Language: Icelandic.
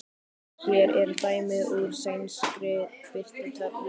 Hér er dæmi úr sænskri birtutöflu